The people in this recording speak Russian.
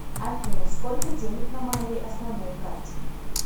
афина сколько денег на моей основной карте